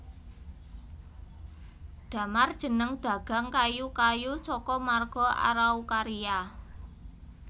Damar jeneng dagang kayu kayu saka marga Araucaria